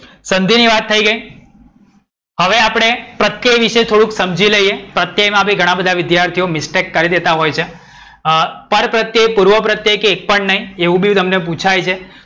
સંધિ ની વાત થઈ ગઈ. હવે આપણે પ્રત્યય વિષે થોડુક સમજી લઈએ. પ્રત્યય માં બી ઘણા બધા વિધ્યાર્થીઓ mistake કરી દેતા હોય છે. અમ પરપ્રત્યય, પૂર્વપ્રત્યય કે એક પણ નહીં એવું બી તમને પૂછાય છે.